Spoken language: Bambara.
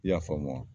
I y'a faamu wa